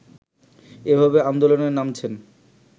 এভাবে আন্দোলনে নামছেন